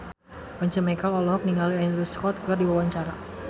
Once Mekel olohok ningali Andrew Scott keur diwawancara